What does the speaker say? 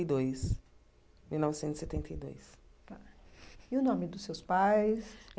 E dois mil novecentos e setenta e dois tá e o nome dos seus pais?